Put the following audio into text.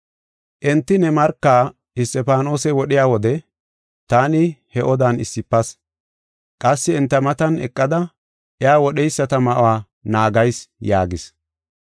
Enti ne marka Isxifaanose wodhiya wode taani he odan issifas. Qassi enta matan eqada iya wodheyisata ma7uwa naagayis’ yaagis.